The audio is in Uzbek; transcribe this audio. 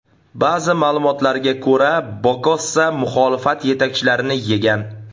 Ba’zi ma’lumotlarga ko‘ra, Bokassa muxolifat yetakchilarini yegan.